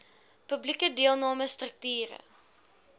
publieke deelname strukture